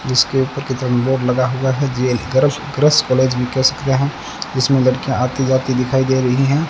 जिसके ऊपर की तरफ बोर्ड लगा हुआ है जिसमें लड़कियां आती जाती दिखाई दे रही हैं।